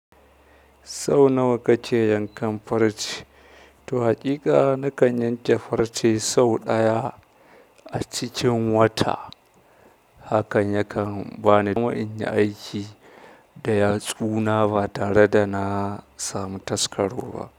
Sau nawa kake yankan farce? To, haƙiƙa na kan yanke farce sau ɗaya a cikin wata. Hakan yakan bani daman in yi aiki da yatsu na ba tare da na samu taskaro ba.